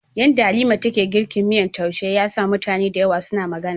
Yadda Halima take girkin miyan taushe ya sa mutane da yawa suna magana.